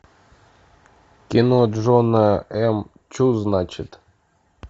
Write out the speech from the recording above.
кино джона м чу значит